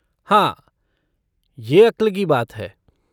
हाँ, यह अक्ल की बात है।